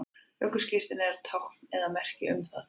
ökuskírteinið er tákn eða merki um það